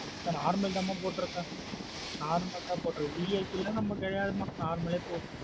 மா normal தான் மா போட்ருக்கேன். Normal தான் போற்றுக்குகேன் VIP லாம் நம்ம கிடையாது மா normal ஏ போதும்.